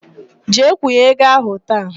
Jee kwụnye ego ahụ taa!